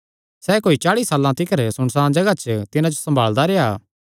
सैह़ कोई चाल़ी साल तिकर सुनसाण जगाह च तिन्हां जो सम्भालदा रेह्आ